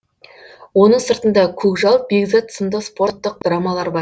оның сыртында көкжал бекзат сынды спорттық драмалар бар